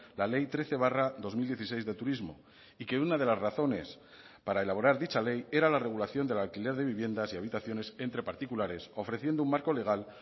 la ley trece barra dos mil dieciséis de turismo y que una de las razones para elaborar dicha ley era la regulación del alquiler de viviendas y habitaciones entre particulares ofreciendo un marco legal